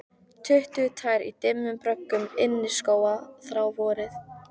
Tuttugu tær í dimmum bröggum inniskóa þrá vorið